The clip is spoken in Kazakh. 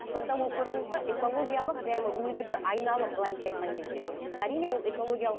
сонда ол көрдіңіз бе экологиялық прямо өзі бір айналым былайынша айтқан кезде әрине ол экологиялық